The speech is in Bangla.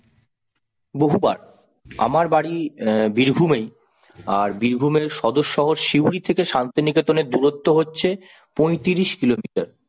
বহুবার আমার বাড়ি অ্যাঁ বীরভূমেই, আর বীরভূমের সদর শহর সিউড়ি থেকে শান্তিনিকেতনের দূরত্ব হচ্ছে পইত্রিস কিলোমিটার।